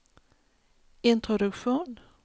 introduktion